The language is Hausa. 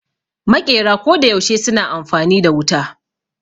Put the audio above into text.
Maƙera koda yaushe suna amfani da wuta